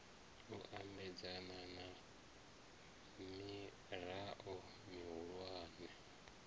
u ambedzana na mirao mihulwane